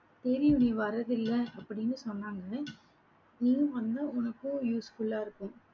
தெரியும் நீ வர்றதில்லை அப்படின்னு சொன்னாங்க. நீ வந்தா உனக்கும் useful ஆ இருக்கும்.